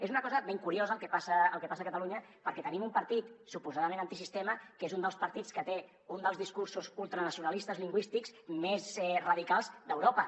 és una cosa ben curiosa el que passa a catalunya perquè tenim un partit suposadament antisistema que és un dels partits que té un dels discursos ultranacionalistes lingüístics més radicals d’europa